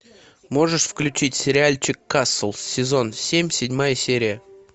можешь включить сериальчик касл сезон семь седьмая серия